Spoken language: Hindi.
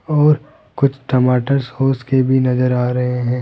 और कुछ टमाटर सॉस के भी नजर आ रहे हैं।